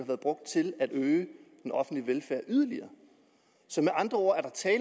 været brugt til at øge den offentlige velfærd yderligere med andre ord